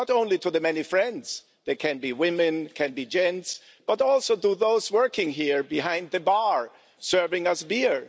not only to the many friends, they can be women, can be gents, but also to those working here, behind the bar, serving us beer